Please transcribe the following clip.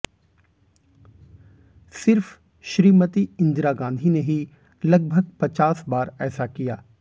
सिर्फ श्रीमती इंदिरा गांधी ने ही लगभग पचास बार ऐसा किया